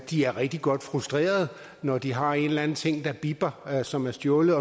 de er rigtig godt frustrerede når de har en eller anden ting der bipper og som er stjålet